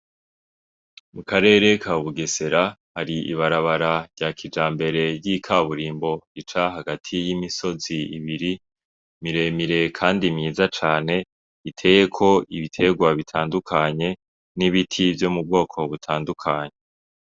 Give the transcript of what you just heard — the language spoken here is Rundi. Mu karere ka bugesera hari ibarabara rya kija mbere ry'ikaburimbo rica hagati y'imisozi ibiri miremire, kandi mwiza cane iteye ko ibiterwa bitandukanye n'ibiti vyo mu bwoko butandukanye.